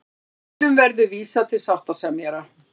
Deilum verði vísað til sáttasemjara